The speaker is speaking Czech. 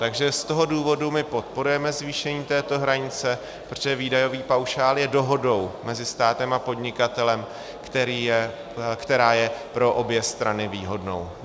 Takže z toho důvodu my podporujeme zvýšení této hranice, protože výdajový paušál je dohodou mezi státem a podnikatelem, která je pro obě strany výhodnou.